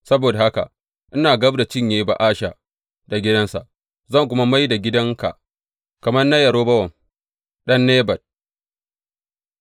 Saboda haka ina gab da cinye Ba’asha da gidansa, zan kuma mai da gidanka kamar na Yerobowam ɗan Nebat.